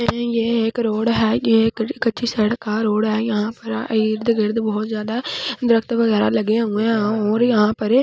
ये एक रोड है ये कच्ची सड़क का रोड है यहां पर इर्दगिर्द बहुत ज्यादा दरख़्त वगैरह लगे हुए हैं और यहां पर--